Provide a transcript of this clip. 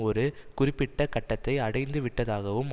ஒரு குறிப்பிட்ட கட்டத்தை அடைந்துவிட்டதாகவும்